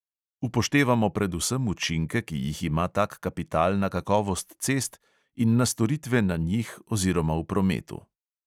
Upoštevamo predvsem učinke, ki jih ima tak kapital na kakovost cest in na storitve na njih oziroma v prometu.